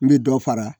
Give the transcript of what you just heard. N bɛ dɔ fara